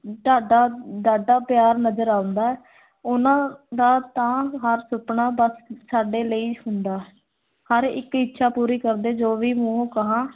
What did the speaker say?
ਡਾਡਾ ਅਮ ਡਾਢਾ ਪਿਆਰ ਨਜ਼ਰ ਆਉਂਦਾ ਹੈ ਉਹਨਾਂ ਦਾ ਤਾਂ ਹਰ ਸੁਪਨਾ, ਬਸ ਸਾਡੇ ਲਈ ਹੁੰਦਾ ਹੈ, ਹਰ ਇੱਕ ਇੱਛਾ ਪੂਰੀ ਕਰਦੇ, ਜੋ ਵੀ ਮੂੰਹੋਂ ਕਹਾਂ।